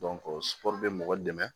bɛ mɔgɔ dɛmɛ